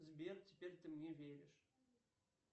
сбер теперь ты мне веришь